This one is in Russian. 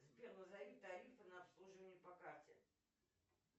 сбер назови тарифы на обслуживание по карте